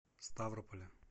ставрополе